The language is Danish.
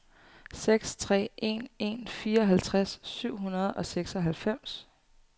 seks tre en en fireoghalvtreds syv hundrede og seksoghalvfems